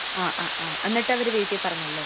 ങാ..അ..ആ..എന്നിട്ടവര് വീട്ടിപ്പറഞ്ഞല്ലേ?